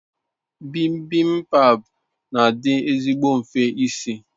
Bibimbap n'adi ezigbo nfe isi